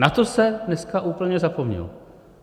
Na to se dneska úplně zapomnělo.